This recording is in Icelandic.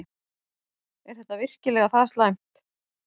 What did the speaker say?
Er þetta virkilega það slæmt?